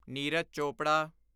Neeraj Chopra